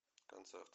концерт